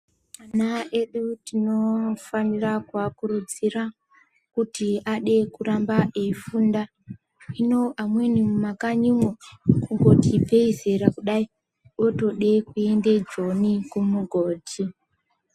Ana edu tinofanira kuakurudzira kuti ade kuramba eifunda. Hino amweni mumakanyimwo, kungoti ibvei zera kudai, otode kuende joni kumugodhi.